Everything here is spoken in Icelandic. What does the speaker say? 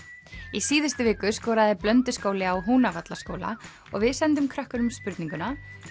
í síðustu viku skoraði á Húnavallaskóla og við sendum krökkunum spurninguna